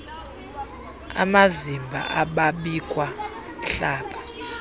amazimba ababikwa hlaba